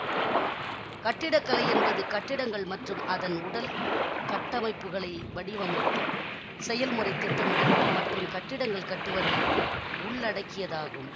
கட்டிடக்கலை என்பது கட்டிடங்கள் மற்றும் அதன் உடல் கட்டமைப்புகளை வடிவமைத்தல் செயல்முறைத் திட்டமிடல் மற்றும் கட்டிடங்கள் கட்டுவதை உள்ளடக்கியதாகும்